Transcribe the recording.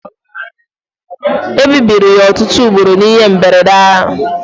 Ebibiri ya ọtụtụ ugboro n'ihe mberede ahụ